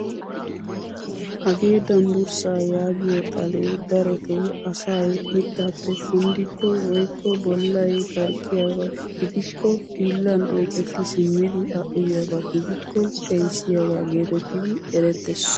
Hagee danbburssaa yagiyoo xalee darotoo asay mittaappe kunddikko woykko bollay barqqiyaaba gidikko hiillan oyqetti simmidi a uyiyaaba gidikko keehissiyaaga getettidi erettees.